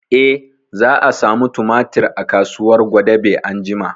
Eh, za a samu tumatir a kasuwar gwadabe anjima